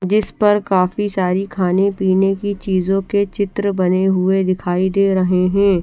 जिस पर काफी सारी खाने पिने की चीजों के चित्र बने दिखाई दे रहे है ।